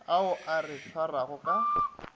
ao a re swarago ka